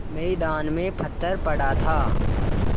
मैदान में पत्थर पड़ा था